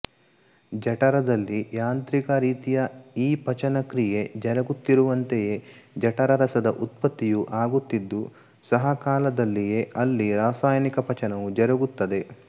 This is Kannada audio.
ಜಠರದಲ್ಲಿ ಯಾಂತ್ರಿಕ ರೀತಿಯ ಈ ಪಚನಕ್ರಿಯೆ ಜರಗುತ್ತಿರುವಂತೆಯೇ ಜಠರರಸದ ಉತ್ಪತ್ತಿಯೂ ಆಗುತ್ತಿದ್ದು ಸಹಕಾಲದಲ್ಲಿಯೇ ಅಲ್ಲಿ ರಾಸಾಯನಿಕ ಪಚನವೂ ಜರಗುತ್ತದೆ